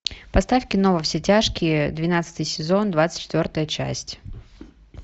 поставь кино во все тяжкие двенадцатый сезон двадцать четвертая часть